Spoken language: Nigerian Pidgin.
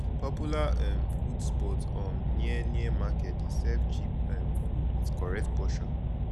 popular um food spot um near near market dey serve cheap um food with correct portion